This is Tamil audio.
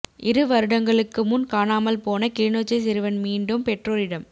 இரு வருடங்களுக்கு முன் காணாமல் போன கிளிநொச்சி சிறுவன் மீண்டும் பெற்றோரிடம்